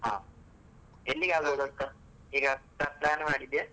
ಹಾ, ಎಲ್ಲಿಗಾದ್ರೂ ಗೊತ್ತ ಈಗ pla~ plan ಮಾಡಿದ್ಯಾ?